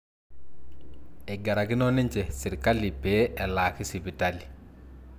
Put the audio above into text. eigarakino ninje sirkali pee elaaki sipitali